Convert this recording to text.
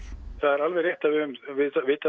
höfum vitað